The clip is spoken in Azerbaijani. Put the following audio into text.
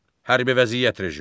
Hərbi vəziyyət rejimi.